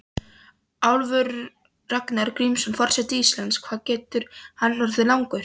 Ólafur Ragnar Grímsson, forseti Íslands: Hvað getur hann orðið langur?